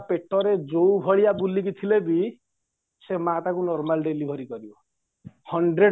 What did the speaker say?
ପେଟରେ ଯୋଉବହଳିଆ ବୁଲିକି ଥିଲେବି ସେ ମାଆ ତାକୁ normal deliver କରିବା hundred